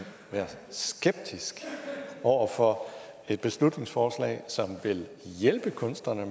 være skeptisk over for et beslutningsforslag som vil hjælpe kunstnerne